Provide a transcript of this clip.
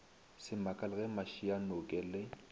se makale ge mašianoke le